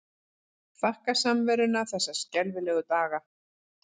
Þakka samveruna þessa skelfilegu daga.